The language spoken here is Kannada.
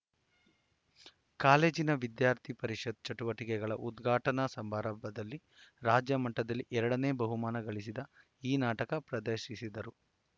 ಕಾಲೇಜಿನ ವಿದ್ಯಾರ್ಥಿ ಪರಿಷತ್‌ ಚಟುವಟಿಕೆಗಳ ಉದ್ಘಾಟನಾ ಸಮಾರಂಭದಲ್ಲಿ ರಾಜ್ಯಮಟ್ಟದಲ್ಲಿ ಎರಡನೇ ಬಹುಮಾನ ಗಳಿಸಿದ ಈ ನಾಟಕ ಪ್ರದರ್ಶಿಸಿದರು